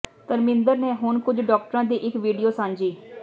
ਧਰਮਿੰਦਰ ਨੇ ਹੁਣ ਕੁਝ ਡਾਕਟਰਾਂ ਦੀ ਇਕ ਵੀਡੀਓ ਸਾਂਝੀ